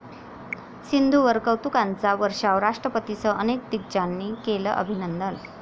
सिंधूवर कौतुकाचा वर्षाव, राष्ट्रपतींसह अनेक दिग्गजांनी केलं अभिनंदन